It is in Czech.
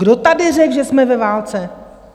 Kdo tady řekl, že jsme ve válce?